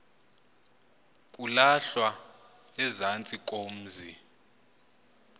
kulahlwa ezantsi komzi